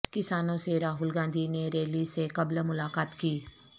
کسانوں سے راہل گاندھی نے ریلی سے قبل ملاقات کی